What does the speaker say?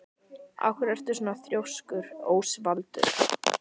Af hverju ertu svona þrjóskur, Ósvaldur?